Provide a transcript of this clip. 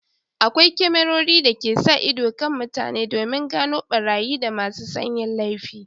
Akwai kyamarori da ke sa ido kan mutane domin gano barayi da masu son yin laifi